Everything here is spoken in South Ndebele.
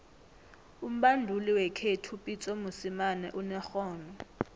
umbanduli wekhethu upitso mosemane unerhono